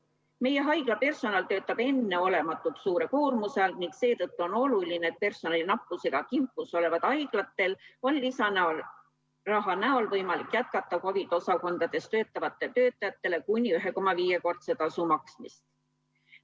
Meie haiglapersonal töötab enneolematult suure koormuse all ning seetõttu on oluline, et personali nappusega kimpus olevatel haiglatel on lisaraha toel võimalik jätkata COVID-i osakondades töötavatele töötajatele kuni 1,5-kordse tasu maksmist.